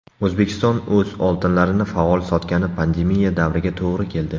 O‘zbekiston o‘z oltinlarini faol sotgani pandemiya davriga to‘g‘ri keldi.